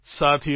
સાથીઓ